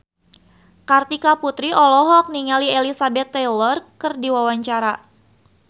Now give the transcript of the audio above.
Kartika Putri olohok ningali Elizabeth Taylor keur diwawancara